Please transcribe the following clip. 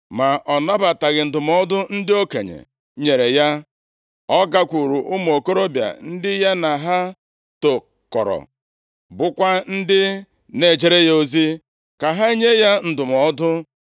Ma ọ nabataghị ndụmọdụ ndị okenye nyere ya, ọ gakwuru ụmụ okorobịa ndị ya na ha tokọrọ, bụkwa ndị na-ejere ya ozi, ka ha nye ya ndụmọdụ.